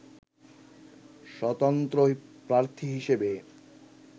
স্বতন্ত্র প্রার্থী হিসেবে